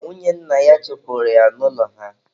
Nwunye nna ya chụpụrụ ya n'ụlọ ha.